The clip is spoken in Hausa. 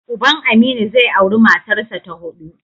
Uban Aminu zai auri matarsa ta huɗu.